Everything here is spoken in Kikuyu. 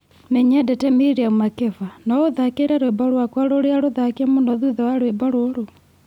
nĩ nyendete Miriam Makeba, no ũtthaakĩre rwĩmbo rwakwa rũrĩa rũthake mũno thutha wa rwĩmbo rũrũ